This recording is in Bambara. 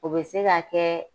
O be se ka kɛ